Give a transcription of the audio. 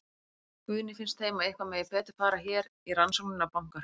Guðný: Finnst þeim að eitthvað megi betur fara hér í rannsóknina á bankahruninu?